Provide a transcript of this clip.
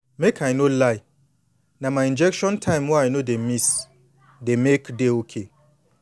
make i no lie na my injection time wey i no dey miss dey make dey okay